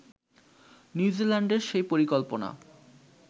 নিউজিল্যান্ডের সেই পরিকল্পনা